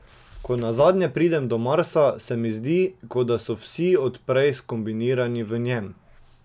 Ko nazadnje pridem do Marsa, se mi zdi, ko da so vsi od prej skombinirani v njem.